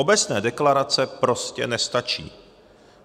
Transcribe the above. Obecné deklarace prostě nestačí.